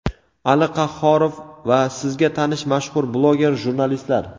Ali Qahhorov va sizga tanish mashhur bloger jurnalistlar!.